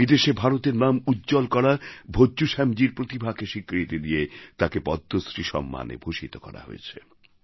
বিদেশে ভারতের নাম উজ্জ্বল করা ভজ্জু শ্যামজীর প্রতিভাকে স্বীকৃত দিয়ে তাঁকে পদ্মশ্রী সম্মানে ভূষিত করা হয়েছে